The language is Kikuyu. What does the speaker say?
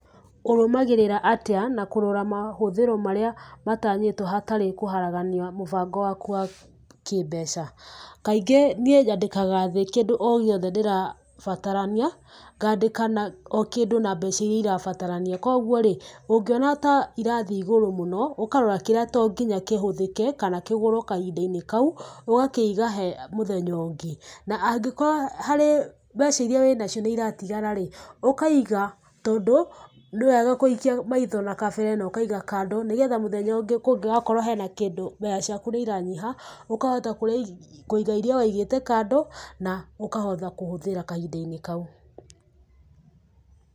Ũrũmagĩrĩra atĩa na kũrora mahũthĩro marĩa matanyĩtwo hatarĩ kũharagania mũbango waku wa kĩmbeca? Kaingĩ, niĩ nyandĩkaga thĩ o kĩndũ o gĩothe ndĩrabatarania, ngaandĩka o kĩndũ na mbeca iria irabatarania. Kũoguo rĩ, ũngĩona ta irathiĩ igũrũ mũno, ũkarora kĩrĩa to nginya kĩhũthĩke kana kĩgũrũo kahinda-inĩ kau, ũgakĩiga he mũthenya ũngĩ. Na angĩkorwo harĩ mbeca iria wĩna cio nĩ iratigara rĩ, ũkaiga, tondu, nĩ wega kũikia maitho na kabere no ũkaiga kando nĩgetha mũthenya ũngĩ kũngĩgakorwo hena kĩndũ mbeca ciaku nĩ iranyiha, ũkahota kũiga iria wĩigĩte kando, na ũkahota kũhũthĩra kahinda-inĩ kau.